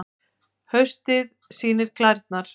Haustið sýnir klærnar